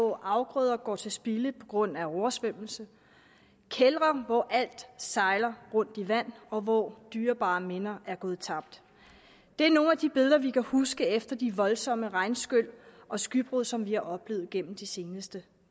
hvor afgrøder går til spilde på grund af oversvømmelse kældre hvor alt sejler rundt i vand og hvor dyrebare minder går tabt er nogle af de billeder vi kan huske efter de voldsomme regnskyl og skybrud som vi har oplevet igennem det seneste